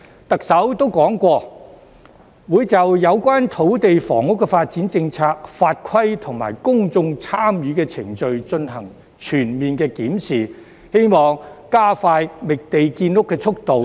特首曾說過，會就有關土地房屋發展的政策、法規及公眾參與程序進行全面檢視，希望加快覓地建屋的速度。